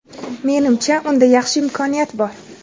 Menimcha, unda yaxshi imkoniyat bor.